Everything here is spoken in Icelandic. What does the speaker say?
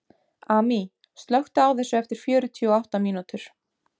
Amý, slökktu á þessu eftir fjörutíu og átta mínútur.